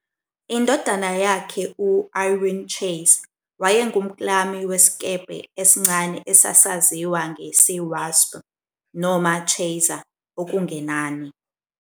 Indodana yakhe, u-Irwin Chase, wayengumklami wesikebhe esincane esasaziwa nge- "sea wasp" noma "Chaser", okungenani